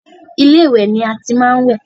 Ilé ìwẹ̀ ni a ti máa ń wẹ̀.